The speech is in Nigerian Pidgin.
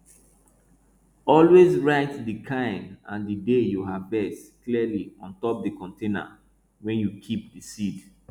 always write di kind and di day you harvest clearly on top di container wey you keep di seed